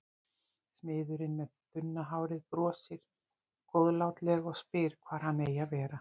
Smiðurinn með þunna hárið brosir góðlátlega og spyr hvar hann eigi að vera.